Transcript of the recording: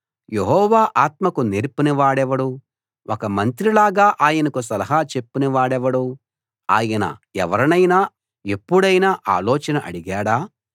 యెహోవా ఆత్మకు నేర్పినవాడెవడు ఒక మంత్రిలాగా ఆయనకు సలహా చెప్పిన వాడెవడు ఆయన ఎవరినైనా ఎప్పుడైనా ఆలోచన అడిగాడా